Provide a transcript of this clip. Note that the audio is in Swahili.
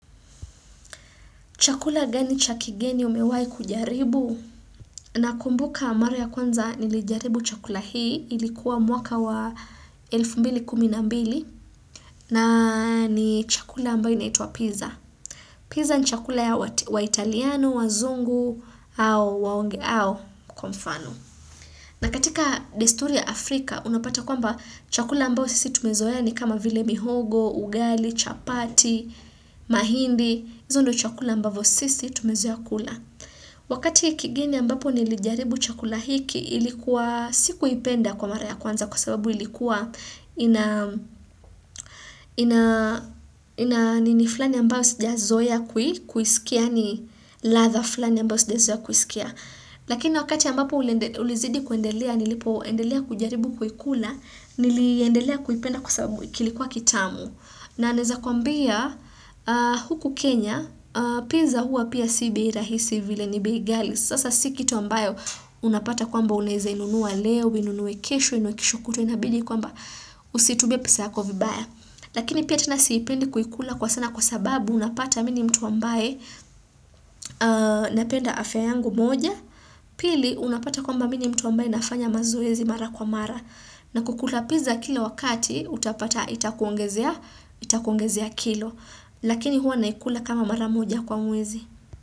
Chakula gani cha kigeni umewahi kujaribu na kumbuka mara ya kwanza nilijaribu chakula hii ilikuwa mwaka wa 1212 na ni chakula ambayo inaituwa pizza. Pizza ni chakula ya wa italiano, wazungu au waonge au kwa mfano. Na katika desturi ya Afrika unapata kwa mba chakula ambayo sisi tumezoeani kama vile mihogo, ugali, chapati, mahindi. Izo ndo chakula mbavyo sisi tumezoa kula wakati hiki kigeni ambapo nilijaribu chakula hiki ilikuwa si kuipenda kwa mara ya kwanza kwa sababu ilikuwa ina ina nini flani ambayo sija zoea kuisikia ni ladha flani ambayo sijazoea kuisikia lakini wakati ambapo ulizidi kuendelea nilipo endelea kujaribu kuikula niliendelea kuipenda kwa sababu kilikuwa kitamu na naweza kuambia huku Kenya pizza huwa pia si bei rahisi vile ni bei ghali sasa si kitu ambayo unapata kwamba unaweza inunua leo uinunue kesho uinunue kesho na kesho kutwa inabili kwamba usitumie pesa yako vibaya lakini pia tena siipendi kuikula kwa sana kwa sababu unapata mimi ni mtu ambaye napenda afya yangu moja pili unapata kwamba mimi ni mtu ambaye nafanya mazoezi mara kwa mara na kukula pizza kila wakati utapata itakuongezea itakuongezea kilo Lakini huwa naikula kama mara moja kwa mwezi.